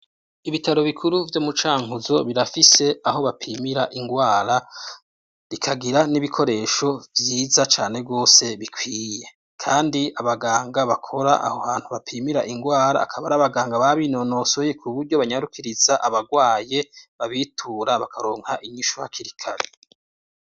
Ibitaro bikuru vyo mu Cankuzo birafise aho bapimira ingwara, bikagira n'ibikoresho vyiza cane gose bikwiye, kandi abaganga bakora aho hantu bapimira ingwara, akaba ari abaganga babinonosoye, kuburyo banyarukiriza abagwaye babitura bakaronka inyishu hakiri kare.